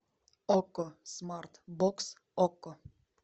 окко смарт бокс окко